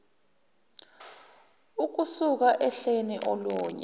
ukusuka ohleni olunye